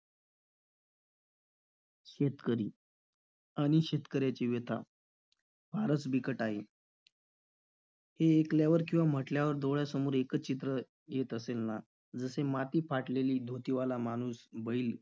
शेतकरी आणि शेतकऱ्याची व्यथा फारच बिकट आहे. हे ऐकल्यावर किंवा म्हटल्यावर डोळ्यासमोर एकच चित्र येत असेल ना? जसे माती, फाटलेली धोतीवाला माणूस, बैल,